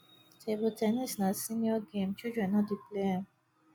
table ten nis na senior game children no dey play am